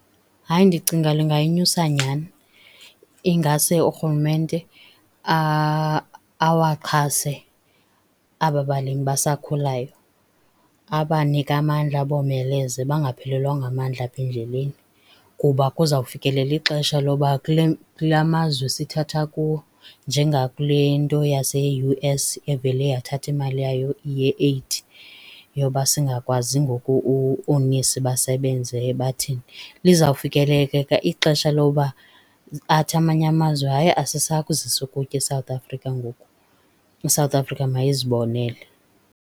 Hayi, ndicinga lungayinyusa nyhani. Ingase urhulumente awaxhase aba balimi basakhulayo, abanike amandla, abomeleze bangaphelelwa ngamandla apha endleleni. Kuba kuza kufikelela ixesha lokuba kula mazwe sithatha kuwo njengakule nto yase-U_S evele yathatha imali yayo ye-eyidi yoba singakwazi ngoku oonesi basebenze bathini. Lizawufikeleleka ixesha lokuba athi amanye amazwi hayi, asisayi kuzisi ukutya eSouth Afrika ngoku, iSouth Afrika mayizibonele.